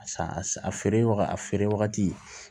Sa a feere wagati a feere wagati